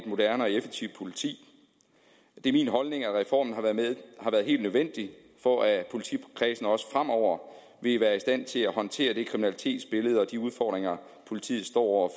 moderne og effektivt politi det er min holdning at reformen har været helt nødvendig for at politikredsene også fremover vil være i stand til at håndtere det kriminalitetsbillede og de udfordringer politiet står